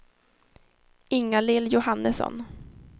Ingalill Johannesson